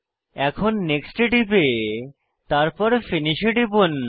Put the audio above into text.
এখন নেক্সট এ টিপে তারপর ফিনিশ এ টিপুন